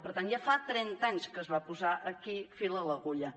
per tant ja fa trenta anys que es va posar aquí fil a l’agulla